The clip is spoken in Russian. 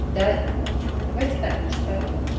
да давайте так начистоту